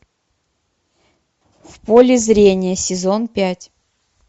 в поле зрения сезон пять